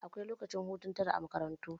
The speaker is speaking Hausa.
Akwai lokacin hutu tara a makarantu.